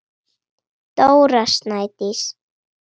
Dóra Snædís.